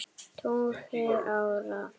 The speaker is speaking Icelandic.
tugi ára.